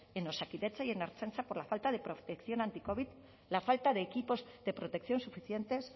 en osakidetza y en la ertzaintza por la falta de protección anticovid la falta de equipos de protección suficientes